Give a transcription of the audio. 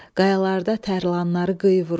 Qayalarda tərlanları qıyı vurur.